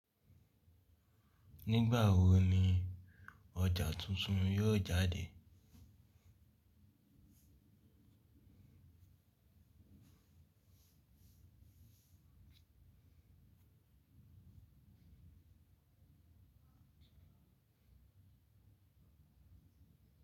Nígbà wo ni ọjà tuntun yóò jáde?